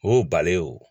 O balen o